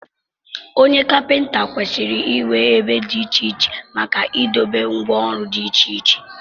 Onye Kapịnta kwesịrị inwe ebe dị iche iche maka idobe ngwá ọrụ dị iche iche